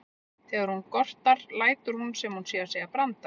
Þegar hún gortar lætur hún sem hún sé að segja brandara.